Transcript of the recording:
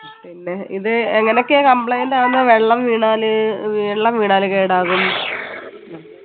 പിന്നെ ഇത് എങ്ങനെയൊക്കെയാ complaint ആവുന്ന വെള്ളം വീണാല് വെള്ളം വീണാല് കേടാകു